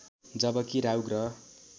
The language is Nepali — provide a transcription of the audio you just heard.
जबकि राहु ग्रह